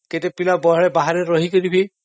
କେତେ ପିଲା ବାହାରେ ରହିକି ବି..